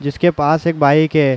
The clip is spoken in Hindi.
जिसके पास एक बाइक है।